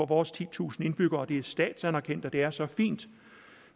vores titusind indbyggere og det er statsanerkendt og det er så fint